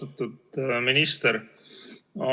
Austatud minister!